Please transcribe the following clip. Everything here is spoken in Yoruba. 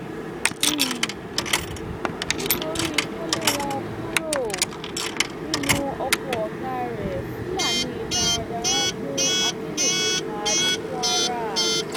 um nítorí tó lé wọn kúrò um nínú oko ọgá rẹ fúlàní darandaran gun akeléso pa ní kwara